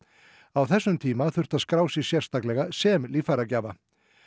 á þessum tíma þurfti að skrá sig sérstaklega sem líffæragjafa